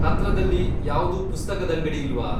ಹತ್ರದಲ್ಲಿ ಯಾವ್ದೂ ಪುಸ್ತಕದಂಗಡಿ ಇಲ್ವಾ?